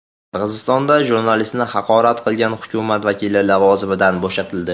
Qirg‘izistonda jurnalistni haqorat qilgan hukumat vakili lavozimidan bo‘shatildi.